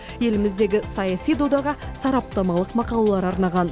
еліміздегі саяси додаға сараптамалық мақалалар арнаған